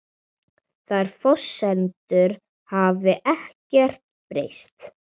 Þær forsendur hafi ekkert breyst